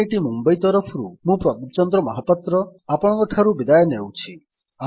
IIT Mumbai ତରଫରୁ ମୁଁ ପ୍ରଦୀପ ଚନ୍ଦ୍ର ମହାପାତ୍ର ଆପଣଙ୍କଠାରୁ ବିଦାୟ ନେଉଛି